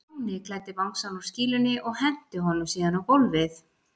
Stjáni klæddi bangsann úr skýlunni og henti honum síðan á gólfið.